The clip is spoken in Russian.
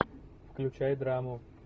включай драму